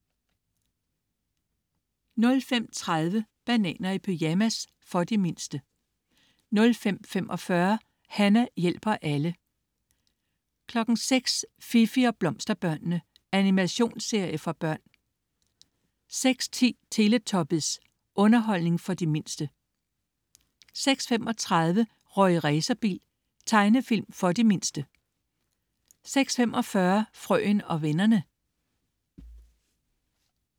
05.30 Bananer i pyjamas. For de mindste 05.45 Hana hjælper alle 06.00 Fifi og Blomsterbørnene. Animationsserie for børn 06.10 Teletubbies. Underholdning for de mindste 06.35 Rorri Racerbil. Tegnefilm for de mindste 06.45 Frøen og vennerne